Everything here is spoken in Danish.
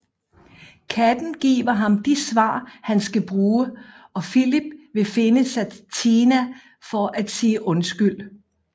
Katten giver ham de svar han skal bruge og Filip vil finde Satina for at sige undskyld